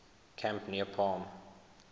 camp near palm